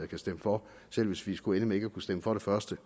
kan stemme for selv hvis vi skulle ende med ikke at kunne stemme for det første